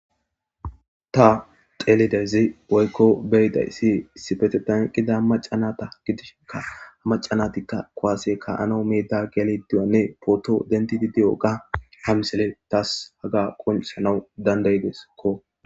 Ta telidezi woykko beyiday si sifete danqida macanata gidishkka a macanatikka koase ka ano miita gelediwanne poto denti didi7oga hamsele taas haga qonsanawu dandaydeskko.